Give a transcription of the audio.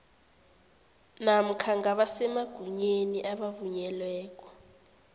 namkha ngabasemagunyeni abavunyelweko